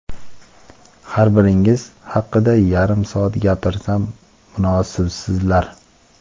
har biringiz haqida yarim soat gapirsam, munosibsizlar.